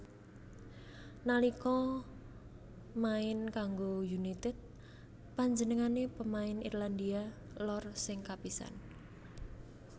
Nalika main kanggo United panjenengané pemain Irlandia Lor sing kapisan